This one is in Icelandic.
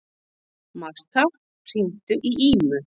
Martha, hringdu í Ímu.